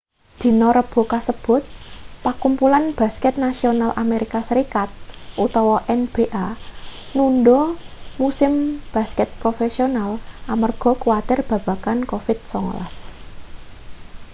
dina rebo kasebut pakumpulan basket nasional amerika serikat nba nundha musim basket profesional amarga kuwatir babagan covid-19